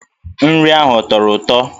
Nri ahụ ọ tọrọ ụtọ?